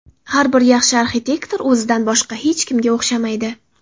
Har bir yaxshi arxitektor o‘zidan boshqa hech kimga o‘xshamaydi.